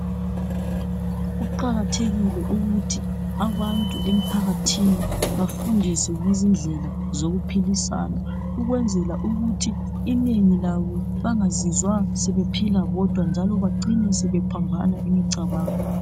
Kuqakathekile ukuthi abantu emphakathini bafundiswe ngezindlela zokuphilisana ukwenzela ukuthi inengi labo bangazizwa sebephila bodwa njalo bacine sebephambana imicabango.